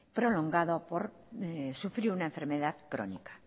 prolongado por sufrir una enfermedad crónica